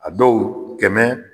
A dɔw kɛmɛ.